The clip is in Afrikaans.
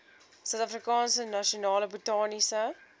suidafrikaanse nasionale botaniese